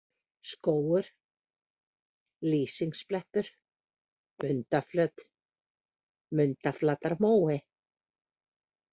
Skógur, Lýsingsblettur, Mundaflöt, Mundaflatarmói